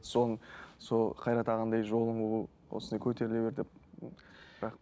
сол сол қайрат ағаңдай жолын қу осылай көтеріле бер деп